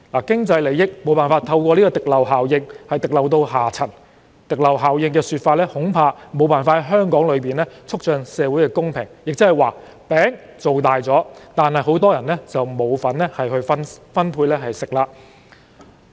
經濟利益無法透過滴漏效應滴漏到下層，因此，這效應恐怕無法在香港促進社會公平，亦即是說，"餅"造大了，但很多人卻沒有吃的份兒。